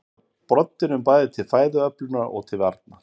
Þeir beita broddinum bæði til fæðuöflunar og til varnar.